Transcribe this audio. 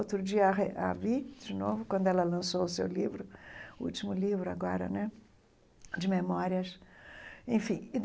Outro dia a re a vi de novo, quando ela lançou o seu livro o último livro agora né de memórias enfim.